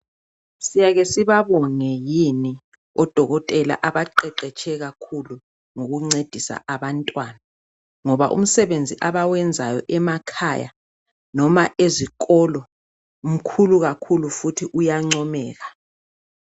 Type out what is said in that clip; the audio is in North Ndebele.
Siyake sibabonge yini odokotela abaqeqetshe kakhulu ngokuncedisa abantwana ngoba umsebenzi abawenzayo emakhaya noma ezikolo umkhulu kakhulu futhi uyancomeka.